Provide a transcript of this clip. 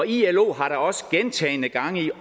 ilo har da også gentagne gange i